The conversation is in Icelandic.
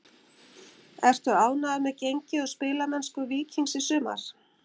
Ertu ánægður með gengi og spilamennsku Víkings í sumar?